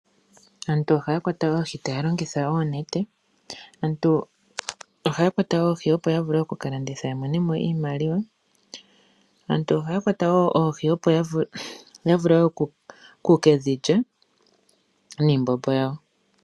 Aantu ohaya kwata oohi taya longitha oonete. Aantu ohaya kwata oohi ya vule okuka landitha ya monemo iimaliwa. Aantu ohaya kwata woo oohi ya vule okukedhi lya niimbombo yawo.